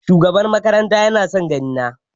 Shugaban makaranta ya na son gani na.